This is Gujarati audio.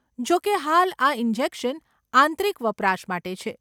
જોકે, હાલ, આ ઇન્જેક્શન આંતરિક વપરાશ માટે છે.